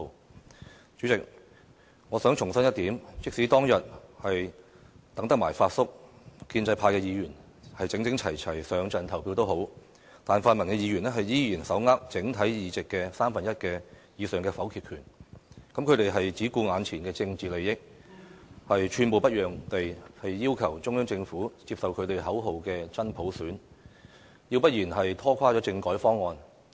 代理主席，我想重申一點，即使當日等到了"發叔"，建制派議員整整齊齊一起投票也奈何，因為泛民議員仍然手握整體議席的三分之一以上的否決權，而他們只顧眼前的政治利益，寸步不讓地要求中央政府接受他們口中的"真普選"，要不然便拖垮政改方案。